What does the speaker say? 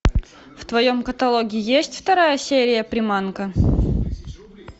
в твоем каталоге есть вторая серия приманка